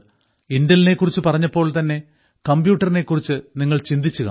Intel നെ കുറിച്ച് പറഞ്ഞപ്പോൾ തന്നെ കമ്പ്യൂട്ടറിനെ കുറിച്ച് നിങ്ങൾ ചിന്തിച്ചു കാണും